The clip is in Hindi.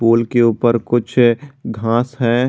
पूल के ऊपर कुछ घास है।